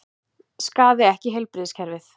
Skaði ekki heilbrigðiskerfið